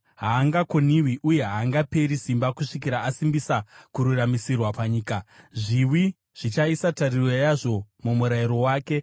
haangakoniwi uye haangaperi simba kusvikira asimbisa kururamisirwa panyika. Zviwi zvichaisa tariro yazvo mumurayiro wake.”